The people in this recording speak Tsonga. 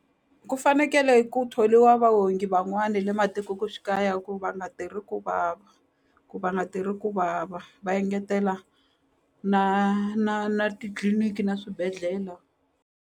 Ku fanekele ku tholiwa vaongi van'wani le ku va nga tirhi ku vava ku va nga tirhi ku vava va engetela na na na titliliniki na swibedhlele.